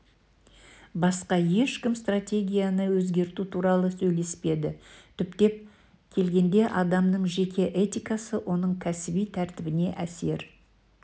басқа ешкім стратегияны өзгерту туралы сөйлеспеді түптеп келгенде адамның жеке этикасы оның кәсіби тәртібіне әсер